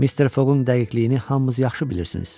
Mr. Fogun dəqiqliyini hamımız yaxşı bilirsiniz.